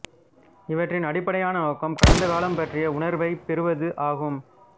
இவற்றின் அடிப்படையான நோக்கம் கடந்தகாலம் பற்றிய உணர்வைப் பெறுவது ஆகும்